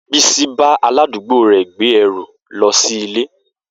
Bisi bá aládùúgbò rè gbé ẹrù lọ sí ilé.